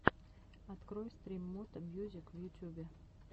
открой стрим мото мьюзик в ютюбе